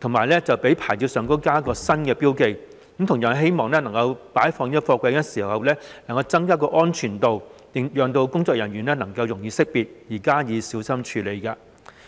以及在牌照上加上新標記，希望擺放貨櫃的時候能夠增加安全度，讓工作人員容易識別而加以小心處理。